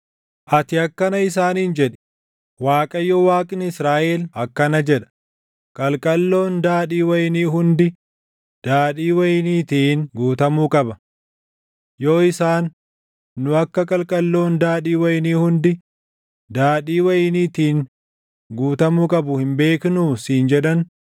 “Ati akkana isaaniin jedhi: ‘ Waaqayyo Waaqni Israaʼel akkana jedha: qalqalloon daadhii wayinii hundi daadhii wayiniitiin guutamuu qaba.’ Yoo isaan, ‘Nu akka qalqalloon daadhii wayinii hundi daadhii wayiniitiin guutamuu qabu hin beeknuu?’ siin jedhan,